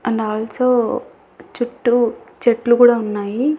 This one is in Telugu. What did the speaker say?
అండ్ అల్సొ చుట్టూ చెట్లు కూడా ఉన్నాయి.